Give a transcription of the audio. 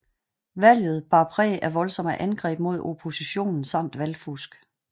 Valget bar præg af voldsomme angreb mod oppositionen samt valgfusk